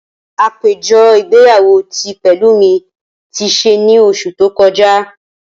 Apejọ igbeyawo ti Pelumi ti ṣe ni oṣu to kọja.